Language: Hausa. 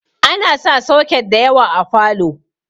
Ana sa soket da yawa a falow